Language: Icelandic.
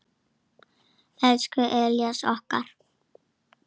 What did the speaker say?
Elsku Elías okkar.